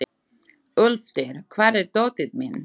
Úlftýr, hvar er dótið mitt?